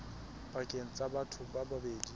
pakeng tsa batho ba babedi